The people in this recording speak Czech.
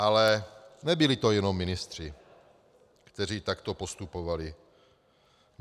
Ale nebyli to jenom ministři, kteří takto postupovali.